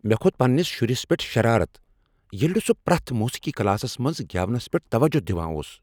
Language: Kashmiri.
مےٚ کھوٚت پنٛنس شُرس پٮ۪ٹھ شرارتھ ییٚلہ نہٕ سُہ پریتھ موٗسیٖقی کلاسس منٛز گٮ۪ونس پٮ۪ٹھ توجہ دوان اوس۔